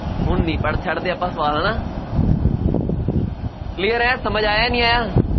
ਹੁਣ ਨਹੀਂ ਪਰ ਛੱਡਦੇ ਆਪਾਂ ਸਵਾਲ ਹੈ ਨਾ clear ਹੈ, ਸਮਝ ਆਇਆ ਨਹੀਂ ਆਇਆ